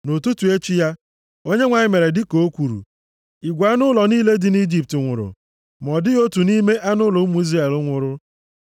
Nʼụtụtụ echi ya, Onyenwe anyị mere dịka o kwuru. Igwe anụ ụlọ niile dị nʼIjipt nwụrụ. Ma ọ dịghị otu nʼime anụ ụlọ ụmụ Izrel nwụrụ.